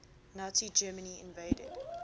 nazi germany invaded